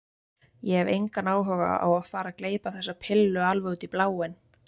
Ég hef engan áhuga á að fara að gleypa þessa pillu alveg út í bláinn.